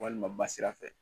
Walima ba sira fɛ